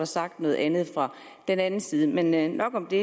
sagt noget andet men andet men nok om det